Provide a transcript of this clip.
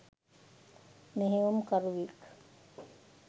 මෙහෙයුම් කරුවෙක්.